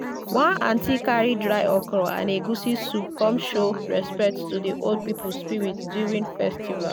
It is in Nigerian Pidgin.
one aunty carry dry okro and egusi soup come show respect to the old people spirit during festival.